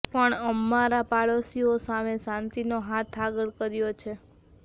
પાણ અમારા પાડોશીઓ સામે શાંતિનો હાથ આગળ કર્યો છે